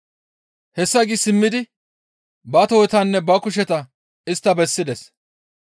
Hessa gi simmidi ba tohotanne ba kusheta istta bessides.